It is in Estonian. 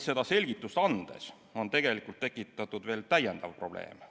Seda selgitust andes on tegelikult tekitatud täiendav probleem.